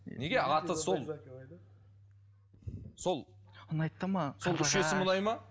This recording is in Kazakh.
неге аты сол сол сол үш есім ұнайды ма